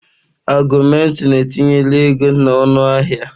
Augụmentịn etinye la ego na ọnụahịa.